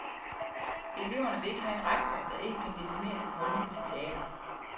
Eleverne vil ikke have en rektor, der ikke kan definere sin holdning til teater.